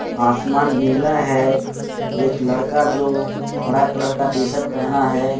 आसमान नीला है। एक लड़का जो हरा कलर का टी शर्ट पहना है।